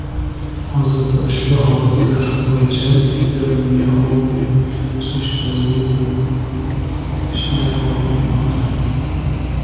Hozirda ushbu holatlar bo‘yicha epidemiologik surishtiruv ishlari davom etmoqda.